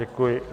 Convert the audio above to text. Děkuji.